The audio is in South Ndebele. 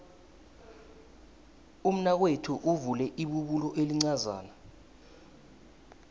umnakwethu uvule ibubulo elincazana